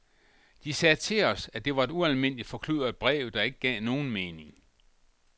De sagde til os, at det var et ualmindeligt forkludret brev, der ikke gav nogen mening.